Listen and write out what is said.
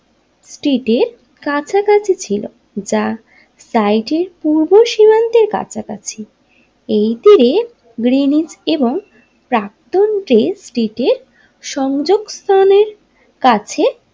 স্ট্রিটের কাছাকাছি ছিল যা টাইড এর পূর্ব সীমান্তের কাছাকাছি এই তীরে গ্রীনিস এবং প্রাক্তন যে স্ট্রিটের সংযোগ স্থানে কাছে।